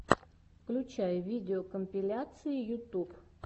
включай видеокомпиляции ютуб